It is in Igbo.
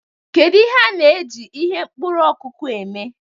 Kedu ihe a na-eji ihe mkpuru okuku eme?